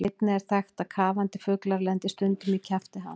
Einnig er þekkt að kafandi fuglar lendi stundum í kjafti hans.